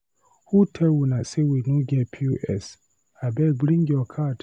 Who tell una sey we no get POS? Abeg bring your card.